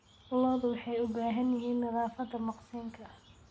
Lo'du waxay u baahan yihiin nadaafadda maqsinka.